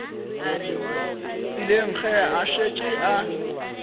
tseleng ge a šetše a